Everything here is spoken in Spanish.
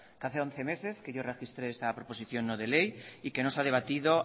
que hace once meses que yo registré esta proposición no de ley y que no se ha debatido